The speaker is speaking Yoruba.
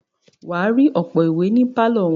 wà á rí ọ̀pọ̀ ìwé ní pálọ̀ wọn.